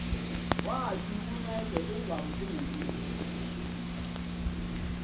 wathi uncede ungamothusi